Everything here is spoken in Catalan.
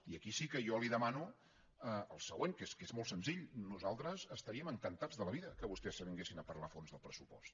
i aquí sí que jo li demano el següent que és que és molt senzill nosaltres estaríem encantats de la vida que vostès s’avinguessin a parlar a fons del pressupost